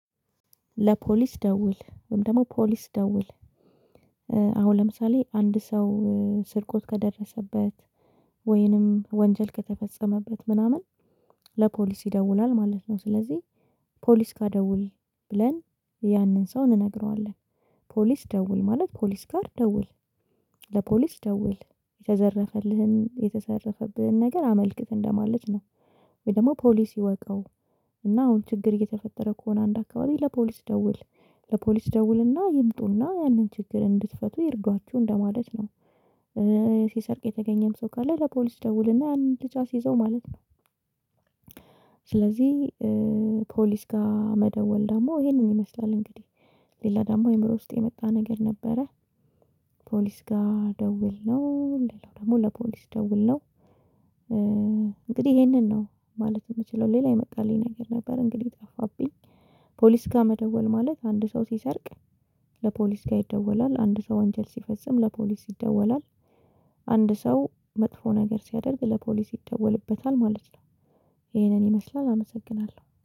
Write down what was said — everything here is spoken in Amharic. ለፖሊስ ደውል ወይም ደግሞ ፖሊስ ደውል፤ አሁን ለምሳሌ አንድ ሰው ስርቆት ከደረሰበት ወይንም ወንጀል ከተፈጸመበት ምናምን ለፖሊስ ይደውላል ማለት ነው። ስለዚህ ፖሊስ ጋር ደውል ብለን ያንን ሰው እንነግረዋለን ፖሊስ ደውል ማለት ፖሊስ ጋር ደውል ለፖሊስ ደውል የተዘረፈልህን የተዘረፈብህን ነገር አመልክት እንደማለት ነው ወይ ደግሞ ፖሊስ ይወቀው እና አሁን ችግር እየተፈጠረ ከሆነ አንድ አካባቢ ለፖሊስ ደውል፤ ለፖሊስ ደውልና ይምጡና ያንን ችግር እንድትፈቱ ይርዷችሁ እንደማለት ነው። ሲሰርቅ የተገኘም ሰው ካለ ለፖሊስ ደውልና አንድ ልጅ አስይዘው ማለት ነው። ስለዚህ ፖሊስ ጋር መደወል ደግሞ ይሄንን ይመስላል እንግዲህ ሌላ ደግሞ አእምሮ ውስጥ የመጣ ነገር ነበረ ፖሊስ ጋር ደውል ነው? እንዴት ነው ደግሞ ለፖሊስ ደውል ነው? እንግዲህ ይሄንን ነው ማለት የምችለው፤ ሌላ የመጣልኝ ነገር ነበር እንግዲህ ጠፋብኝ ፖሊስ ጋር መደወል ማለት? አንድ ሰው ሲሰርቅ ለፖሊስ ጋር ይደወላል፤ አንድ ሰው አንጀል ሲፈጽም ለፖሊስ ይደወላል፤ አንድ ሰው መጥፎ ነገር ስያደርግ ለፖሊስ ይደወልበታል ማለት ነው። ይሄንን ይመስላል አመሰግናለሁ።